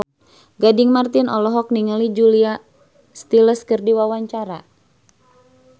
Gading Marten olohok ningali Julia Stiles keur diwawancara